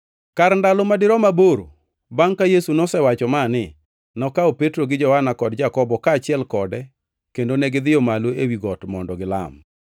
Kar ndalo ma dirom aboro bangʼ ka Yesu nosewacho mani, nokawo Petro gi Johana kod Jakobo kaachiel kode kendo negidhiyo malo ewi got mondo gilam.